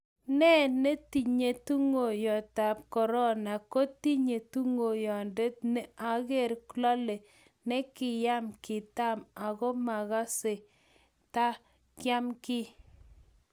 ne tinyei tunguyondetab korona ko tinyei tunguyonde ne ang'er, lole ne kiyam, kitam aku makasei ta kiam kiy